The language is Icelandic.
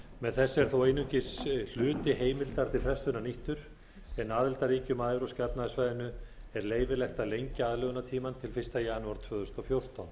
með þessu er þó einungis hluti heimildar til frestunar nýttur en aðildarríkjum að evrópska efnahagssvæðinu er leyfilegt að lengja aðlögunartímann til fyrsta janúar tvö þúsund og fjórtán